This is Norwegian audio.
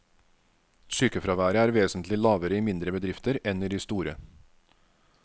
Sykefraværet er vesentlig lavere i mindre bedrifter enn i de store.